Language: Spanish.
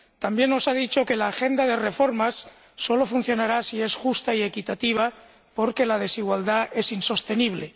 también nos ha dicho que la agenda de reformas solo funcionará si es justa y equitativa, porque la desigualdad es insostenible